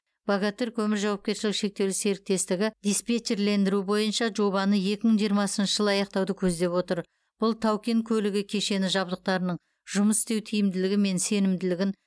богатырь көмір жауапкершілігі шектеулі серіктестігі диспетчерлендіру бойынша жобаны екі мың жиырмасыншы жылы аяқтауды көздеп отыр бұл тау кен көлігі кешені жабдықтарының жұмыс істеу тиімділігі мен сенімділігін